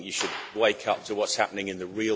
I think you should wake up to what's happening in the